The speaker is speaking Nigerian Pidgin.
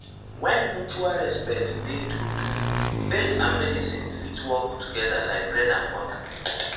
when mutual respect dey true true faith and medicine fit work together like bread and butter.